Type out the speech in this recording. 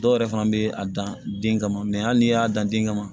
Dɔw yɛrɛ fana bɛ a dan den kama hali n'i y'a dan den kama